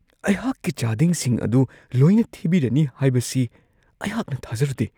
ꯑꯩꯍꯥꯛꯀꯤ ꯆꯥꯗꯤꯡꯁꯤꯡ ꯑꯗꯨ ꯂꯣꯏꯅ ꯊꯤꯕꯤꯔꯅꯤ ꯍꯥꯏꯕꯁꯤ ꯑꯩꯍꯥꯛꯅ ꯊꯥꯖꯔꯨꯗꯦ ꯫ (ꯑꯍꯥꯛ)